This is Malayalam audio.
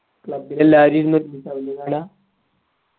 club ൽ എല്ലാവരും